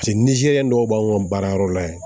Paseke nizeriyɛn dɔw b'anw ka baara yɔrɔ la yen